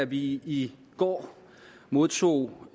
vi i går modtog